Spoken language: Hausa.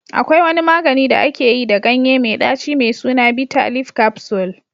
Akwai wani magani da aka yi da ganye mai ɗaci mai suna bitter leaf capsule